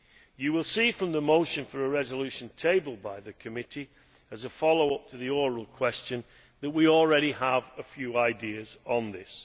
You will see from the motion for a resolution tabled by the committee as a follow up to the oral question that we already have a few ideas on this.